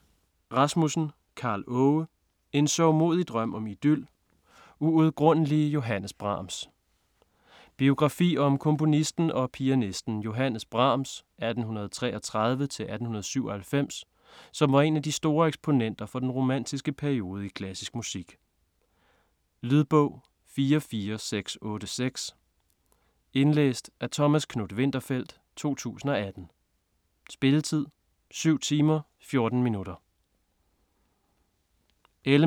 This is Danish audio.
Rasmussen, Karl Aage: En sørgmodig drøm om idyl: uudgrundelige Johannes Brahms Biografi om komponisten og pianisten Johannes Brahms (1833-1897) som var en af de store eksponenter for den romantiske periode i klassisk musik. Lydbog 44686 Indlæst af Thomas Knuth-Winterfeldt, 2018. Spilletid: 7 timer, 14 minutter.